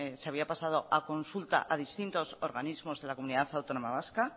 se había pasado a consulta a distintos organismos de la comunidad autónoma vasca